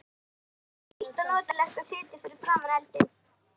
Það var hlýtt og notalegt að sitja fyrir framan eldinn.